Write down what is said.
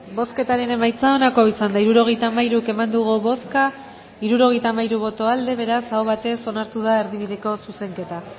bozketaren emaitza onako izan da hirurogeita hamairu eman dugu bozka hirurogeita hamairu boto aldekoa beraz aho batez onartu da erdibideko zuzenketa